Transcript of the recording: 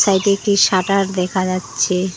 Side -এ একটি shutter দেখা যাচ্ছে।